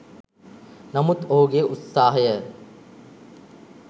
නමුත් ඔහුගේ උත්සාහය